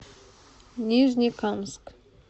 нижнекамск